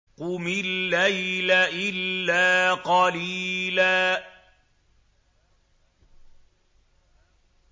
قُمِ اللَّيْلَ إِلَّا قَلِيلًا